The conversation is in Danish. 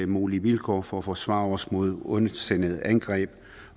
mulige vilkår for at forsvare os mod ondsindede angreb